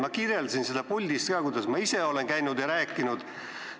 Ma kirjeldasin seda puldis ka, kuidas ma ise olen käinud ja sellest rääkinud.